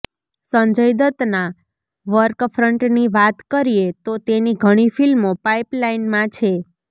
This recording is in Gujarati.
સંજય દત્તના વર્કફ્રન્ટની વાત કરીએ તો તેની ઘણી ફિલ્મો પાઈપલાઈનમાં છે